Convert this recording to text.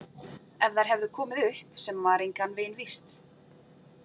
Ef þær höfðu komið upp sem var engan veginn víst.